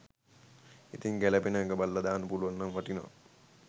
ඉතින් ගැලපෙනම එක බලල දාන්න පුළුවන් නම් වටිනවා